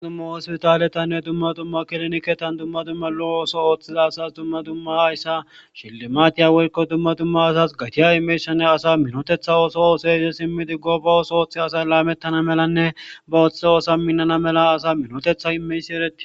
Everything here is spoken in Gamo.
ma dumma hospitaletanne dumma dumma kiloniketan dumma dumma lo ooso ooththiza asas dumma dumma hayssa shillimaatiya weyko dumma dumma asas gatiya imeyshane asa minotetha ooso ooso ize simmidi goba ooso ooththi asay laamettana melanne ba ooththe oosa minnana mela asa minotetha imeysi eretti